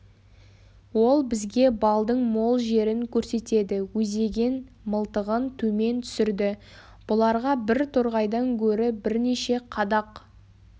ол бізге балдың мол жерін көрсетеді өзеген мылтығын төмен түсірді бұларға бір торғайдан гөрі бірнеше қадақ